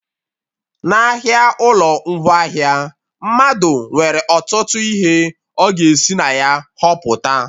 N'ahịa ụlọ ngwaahịa, mmadụ nwere ọtụtụ ihe ọ ga esi na ya họpụta